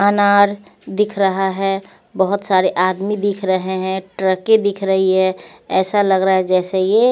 अनार दिख रहा है बहुत सारे आदमी दिख रहे हैं ट्रकें दिख रही हैं ऐसा लग रहा है जैसे ये--